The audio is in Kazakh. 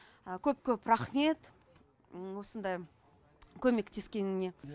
көп көп рахмет осындай көмектескеніне